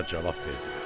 Nökərlər cavab verdilər: